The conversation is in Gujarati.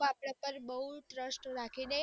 અપડા ઉપર બૌ trust રાખીને